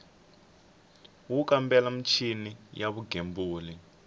wo kambela michini ya vugembuli